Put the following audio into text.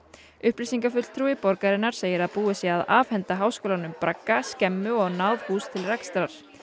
upplýsingafulltrúi borgarinnar segir að búið sé að afhenda háskólanum bragga skemmu og náðhús til rekstrar